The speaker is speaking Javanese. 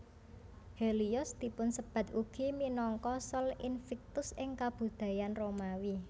Helios dipunsebat ugi minangka Sol Invictus ing kabudayan Romawi